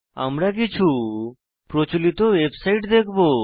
আমরা কিছু প্রচলিত ওয়েবসাইট দেখবো